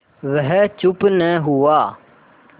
वह चुप न हुआ